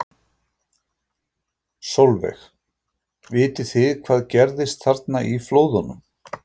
Sólveig: Vitið þið hvað gerðist þarna í flóðunum?